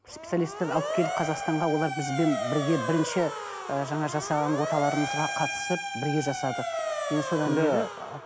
специалистерді алып келіп қазақстанға олар бізбен бірге бірінші і жаңағы жасаған оталарымызға қатысып бірге жасадық енді содан бері ы